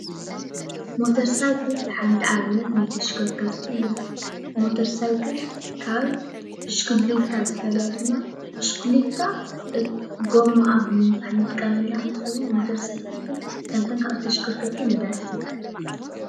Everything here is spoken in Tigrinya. ሞተር ሳይክል ሓንቲ ኣብነት ናይ ተሽከርከርቲ እያ፡፡ ሞተር ሳይክል ካብ ብሽክልታ ዝፈልያ ድማ ብሽክልታ ጎማኣ ብምንፋሕ እንጥቀመላ እንትትከውን ሞተር ሳይክል ግን ከምተን ካልኦት ተሽከርከርቲ ነዳዲ እትምላእ እያ፡፡